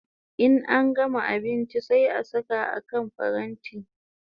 In an gama abinchi sai a saka a kan paranti